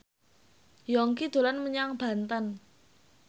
Yongki dolan menyang Banten